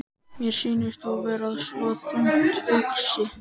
Mér sýnist þú vera svo þungt hugsi.